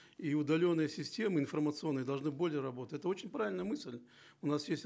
и удаленные системы информационные должны более работать это очень правильная мысль у нас есть